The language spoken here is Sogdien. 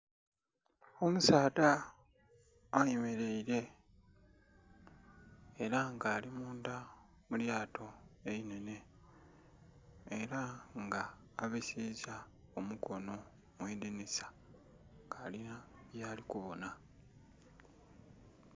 Omusaadha ayemeleile ela nga ali mundha mu lyato einhenhe, ela nga abisiisa omukono mu idinhisa nga alinha byali kubonha.